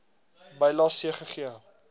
bylae c gegee